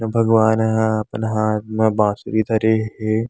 भगवान ह अपन हाथ म बांसुरी धरे हे।